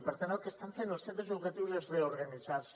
i per tant el que estan fent els centres educatius és reorganitzar se